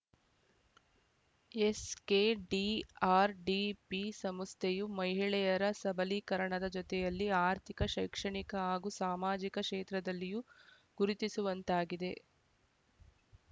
SKDRDP ಸಂಸ್ಥೆಯು ಮಹಿಳೆಯರ ಸಬಲೀಕರಣದ ಜೊತೆಯಲ್ಲಿ ಆರ್ಥಿಕ ಶೈಕ್ಷಣಿಕ ಹಾಗೂ ಸಾಮಾಜಿಕ ಕ್ಷೇತ್ರದಲ್ಲಿಯೂ ಗುರುತಿಸುವಂತಾಗಿದೆ